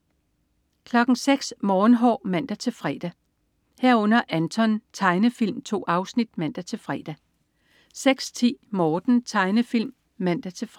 06.00 Morgenhår (man-fre) 06.00 Anton. Tegnefilm. 2 afsnit (man-fre) 06.10 Morten. Tegnefilm (man-fre)